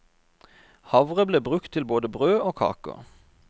Havre ble brukt til både brød og kaker.